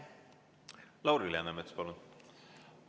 Lauri Läänemets, palun!